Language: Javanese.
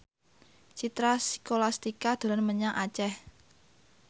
Citra Scholastika dolan menyang Aceh